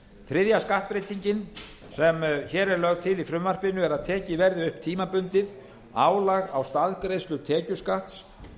þriðja skattbreytingin sem hér er lögð til í frumvarpinu er að tekið verði upp tímabundið álag í staðgreiðslu tekjuskatts